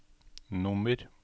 nummer